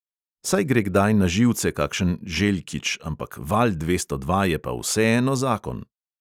Saj gre kdaj na živce kakšen željkič, ampak val dvesto dva je pa vseeno zakon …